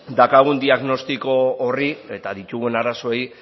daukagun diagnostiko horri eta ditugun arazoei